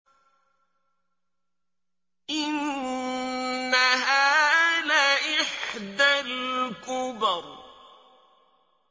إِنَّهَا لَإِحْدَى الْكُبَرِ